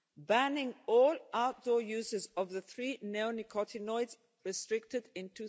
banning all outdoor uses of the three neonicotinoids restricted